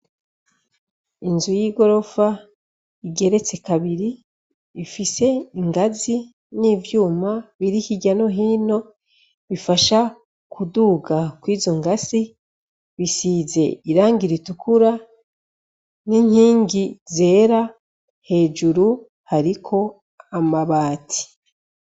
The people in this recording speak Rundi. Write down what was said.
Inzu y'igorofa igeretse kabiri, ifise ingazi n'ivyuma birihigano hino bifasha kuduga kw'izungazi bisize irangi ritukura n'inkingi zera, hejuru hariko amabati.